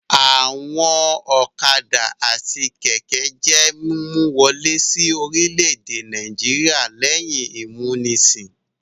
Àwọn ọ̀kadà àti kẹ̀kẹ́ jẹ́ mímú wọlé sí orílẹ̀-èdè Nàìjíríà lẹ́yìn ìmúnisìn.